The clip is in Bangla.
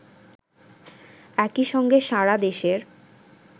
একই সঙ্গে সারাদেশের